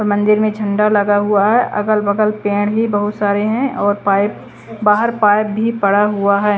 और मंदिर में झंडा लगा हुआ है अगल बगल पेड़ भी बहुत सारे हैं और पाइप बाहर पाइप भी पड़ा हुआ है।